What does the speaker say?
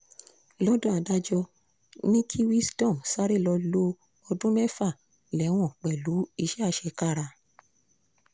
lọ́dọ̀ adájọ́ ni kí wisdom sáré lọ́ọ́ lo ọdún mẹ́fà lẹ́wọ̀n pẹ̀lú iṣẹ́ àṣekára